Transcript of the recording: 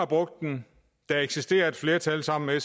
brugt den der eksisterer et flertal sammen med